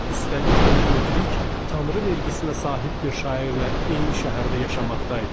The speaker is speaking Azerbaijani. Üstəlik belə müdrik, tanrı vergisinə sahib bir şairlə eyni şəhərdə yaşamaqdaydı.